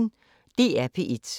DR P1